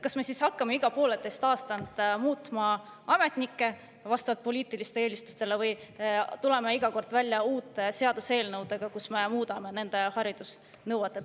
Kas me hakkame siis iga pooleteise aasta tagant muutma ametnikke vastavalt poliitilistele eelistustele või tuleme iga kord välja uute seaduseelnõudega, kus me muudame nende haridusnõuet?